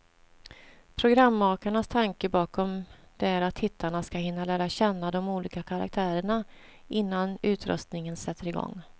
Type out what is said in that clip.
Programmakarnas tanke bakom det är att tittarna ska hinna lära känna de olika karaktärerna, innan utröstningen sätter igång.